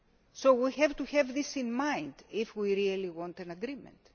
So we have to have this in mind if we really want an agreement.